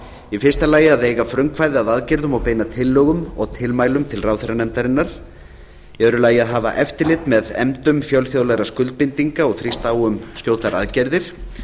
í fyrsta lagi að eiga frumkvæði að aðgerðum og beina tillögum og tilmælum til ráðherranefndarinnar í öðru lagi að hafa eftirlit með efndum fjölþjóðlegra skuldbindinga og þrýsta á um skjótar aðgerðir